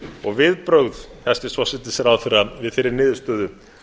og viðbrögð hæstvirts forsætisráðherra við þeirri niðurstöðu